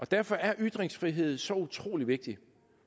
derfor er ytringsfrihed så utrolig vigtig